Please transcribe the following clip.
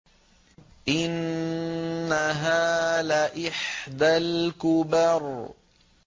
إِنَّهَا لَإِحْدَى الْكُبَرِ